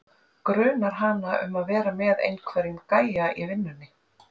. grunar hana um að vera með einhverjum gæja í vinnunni.